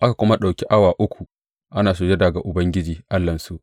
Aka kuma ɗauki awa uku ana sujada ga Ubangiji Allahnsu.